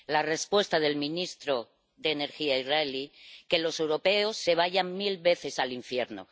La respuesta del ministro de Energía israelí es que los europeos se vayan mil veces al infierno.